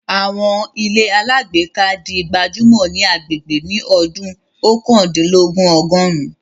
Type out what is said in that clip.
Àwọn ilé alágbèéká di gbajúmọ̀ ní agbègbè ní ọdún Oókandínlogún Ọgọ̀rin